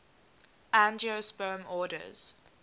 angiosperm orders